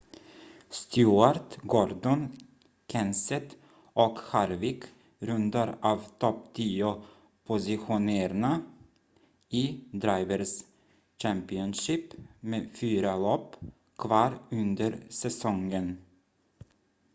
stewart gordon kenseth och harvick rundar av topp-tio-positionerna i drivers' championship med fyra lopp kvar under säsongen